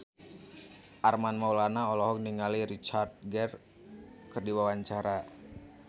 Armand Maulana olohok ningali Richard Gere keur diwawancara